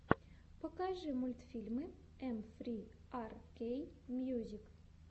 покажи мультфильмы эм фри ар кей мьюзик